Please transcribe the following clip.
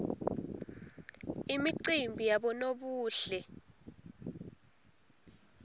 imicimbi yabonobuhle